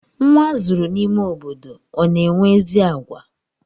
Nwa azụrụ n'ime obodo ọ na-enwe ezi àgwà?